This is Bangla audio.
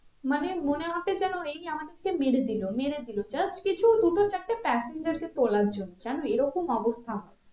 মানে মনে হবে যেন এই আমাদেরকে মেরে দিলো মেরে দিলো just কিছু দুটো চারটে passengers কে তোলার জন্য জানো এরকম অবস্থা আমাদের